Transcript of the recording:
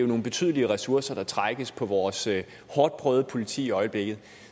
nogle betydelige ressourcer på vores hårdt prøvede politi i øjeblikket